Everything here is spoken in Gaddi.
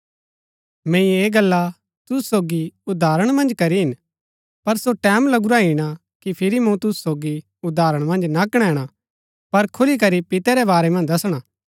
मैंई ऐह गल्ला तुसु सोगी उदाहरण मन्ज करी हिन पर सो टैमं लगुरा ईणा कि फिरी मूँ तुसु सोगी उदाहरण मन्ज ना कणैणा पर खुलीकरी पितै रै बारै मन्ज दसणा